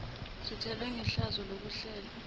sithelwe ngehlazo lokuhlale